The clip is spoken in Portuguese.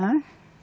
Hã?